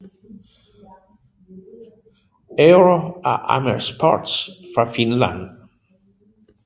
Euro af Amer Sports fra Finland